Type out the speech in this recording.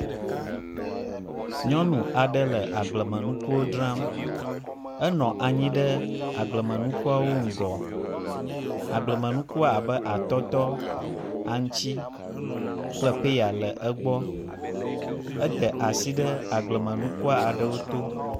Nyɔnu aɖe le agblemenukuwo dzram. Enɔ anyi ɖea gblemenukuwo ŋgɔ. Agblemenuku abe atɔtɔ, aŋtsi kple peya le egbɔ. Eda asi ɖe agblmenuku aɖewo to.